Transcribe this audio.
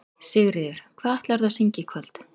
Sigríður: Hvað ætlarðu að syngja í kvöld?